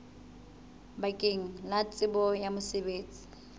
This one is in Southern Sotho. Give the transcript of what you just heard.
bakeng la tsebo ya mosebetsi